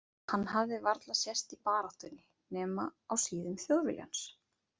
Hann hafði varla sést í baráttunni, nema á síðum Þjóðviljans.